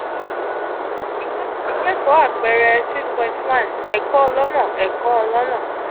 ikeko apeere six point one ẹ̀kọ́ ọlọ́nà ẹ̀kọ́ ọlọ́nà